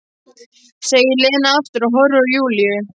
segir Lena aftur og horfir á Júlíu.